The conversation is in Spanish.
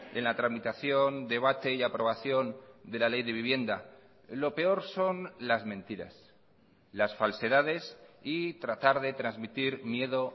en la tramitación debate y aprobación de la ley de vivienda lo peor son las mentiras las falsedades y tratar de transmitir miedo